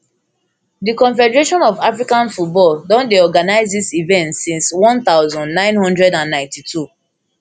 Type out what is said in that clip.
di confederation of african football don dey organise dis event since one thousand, nine hundred and ninety-two